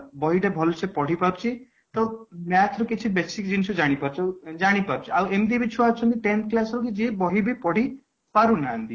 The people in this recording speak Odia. ବହି ଟେ ଭଲ ସେ ପଢିପାରୁଛି ତ math ରେ କିଛି ବେଶୀ ଜିନିଷ ଜାଣିପାରୁଛି ଆଉ ଏମିତି ବି ଛୁଆ ଅଛନ୍ତି tenth class ରୁ ବି ଯିଏ ବହି ବି ପଢିପାରୁନାହାନ୍ତି